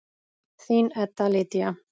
Þín Edda Lydía.